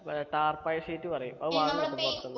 ഏർ താർപ്പായി sheet പറയും അത് വാങ്ങാൻ കിട്ടും പൊറത്തിന്ന്